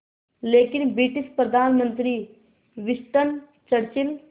लेकिन ब्रिटिश प्रधानमंत्री Winston Churchill